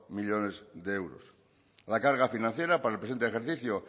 millónes de euros la carga financiera para el presente ejercicio